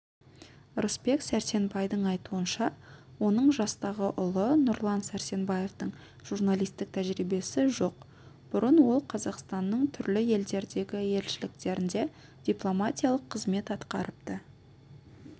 рысбек сәрсенбайдың айтуынша оның жастағы ұлы нұрлан сәрсенбаевтың журналистік тәжірибесі жоқ бұрын ол қазақстанның түрлі елдердегі елшіліктерінде дипломатиялық қызмет атқарыпты